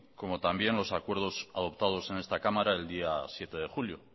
como también los acuerdos adoptados en esta cámara el día siete de julio